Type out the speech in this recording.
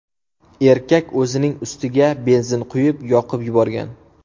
Erkak o‘zining ustiga benzin quyib, yoqib yuborgan.